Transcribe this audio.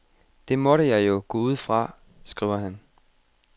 Det måtte jeg jo gå ud fra, skriver han.